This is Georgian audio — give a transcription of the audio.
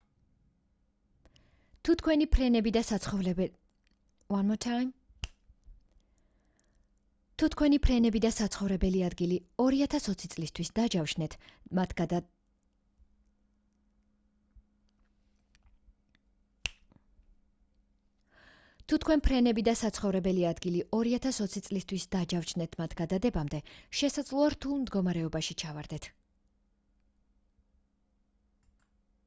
თუ თქვენი ფრენები და საცხოვრებელი ადგილი 2020 წლისთვის დაჯავშნეთ მათ გადადებამდე შესაძლოა რთულ მდგომარეობაში ჩავარდეთ